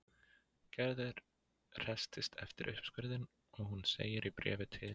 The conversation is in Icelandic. Gerður hresstist eftir uppskurðinn og hún segir í bréfi til